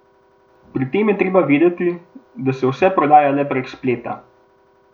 Pri tem je treba vedeti, da se vse prodaja le prek spleta.